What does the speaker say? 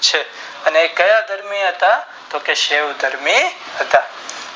છે અને ક્યાં પાત્રો હતા તોકે શિવ ધર્મી હતા